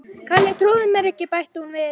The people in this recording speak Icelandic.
Kalli trúir mér ekki bætti hún við.